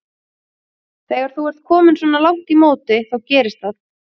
Þegar þú ert kominn svona langt í móti þá gerist það.